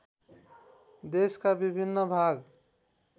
देशका विभिन्न भाग